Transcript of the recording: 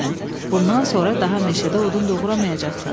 Bundan sonra daha meşədə odun doğraya bilməyəcəksən.